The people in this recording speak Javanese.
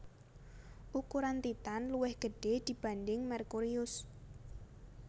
Ukuran Titan luwih gede dibanding Merkurius